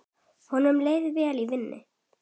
Honum leið vel í vinnu.